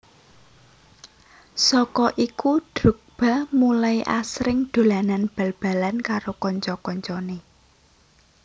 Saka iku Drogba mulai asring dolanan bal balan karo kanca kancanè